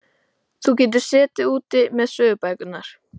Þú getur setið úti með sögubækurnar.